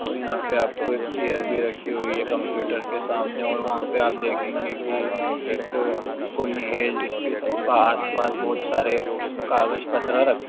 और यहां पे आपको एक चेयर भी रखी हुई है कंप्यूटर के सामने और वहां पर हम देखेंगे कि एक कोई है जिसके आस-पास बहुत सारे कागज पतरा रखे --